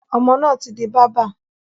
Ọmọ náà tí di bábà.